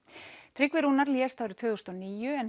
Tryggvi Rúnar lést árið tvö þúsund og níu en